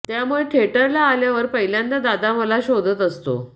त्यामुळे थिएटरला आल्यावर पहिल्यांदा दादा मला शोधत असतो